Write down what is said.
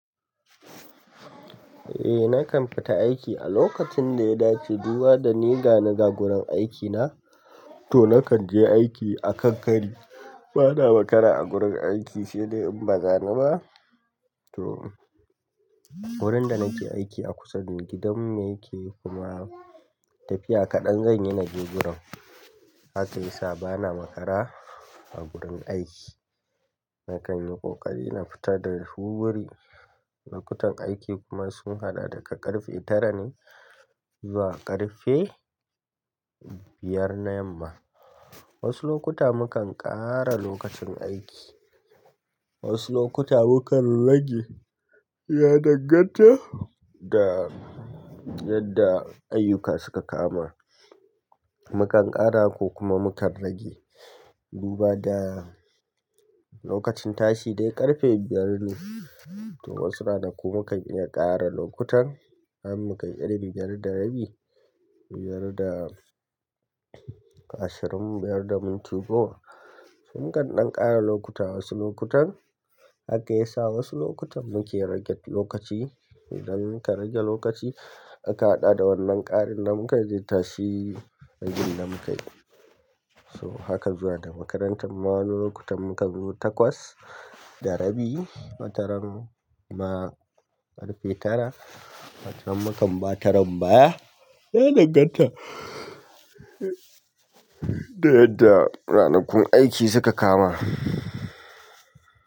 Eh nakan fita aiki. A lokacin da ya dace, duba da ni ga ni ga gurin aikina, to nakan je aiki akan kari. Bana makara a gurin aiki, sai dai in baza ni ba. To wurin da nake aiki a kusa ne gidan mu yake kuma tafiya kaɗan zanyi naje gurin. Haka yasa bana makara a gurin aiki. Nakan yi ƙoƙari na fita da wurwuri. Lokutan aiki kuma sun haɗa daga ƙarfe tara ne zuwa ƙarfe biyar na yamma. Wasu lokuta mukan ƙara lokacin aiki, wasu lokuta mukan rage. Mukan ƙara ko kuma mukan rage. Duba da lokacin tashi dai ƙarfe biyar ne, to wasu ranaku mukan iya ƙara lokutan har mukai ƙarfe biyar da rabi, biyar da ashirin, biyar da minti goma. To mukan ɗan ƙara lokuta wasu lokutan, haka yasa wasu lokutan muke rage lokaci. Idan muka rage lokaci aka haɗa da wannan ƙarin da muka je tashi, ragin da mukai. To hakan zuwa da makarantar ma wani lokutan mukan zo takwas da rabi, watarin ma ƙarfe tara, watan mukan ba taran ba, ya dan ganta da yadda rana kun aiki suka kama.